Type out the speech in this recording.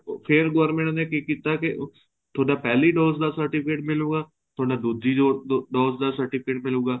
ਫ਼ੇਰ government ਨੇ ਕੀ ਕੀਤਾ ਕੇ ਤੁਹਾਡਾ ਪਹਿਲੀ dose ਦਾ certificate ਮਿਲੂਗਾ ਤੁਹਾਡਾ ਦੂਜੀ dose ਦਾ certificate ਮਿਲੂਗਾ